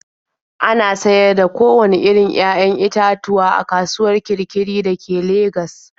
Ana sayar da kowanne irin 'ya'yan itatuwa a kasuwar Kirkiri da ke Legas.